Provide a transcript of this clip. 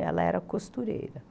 Ela era costureira